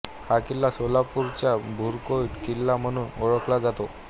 हा किल्ला सोलापूरचा भुईकोट किल्ला म्हणून ओळखला जातो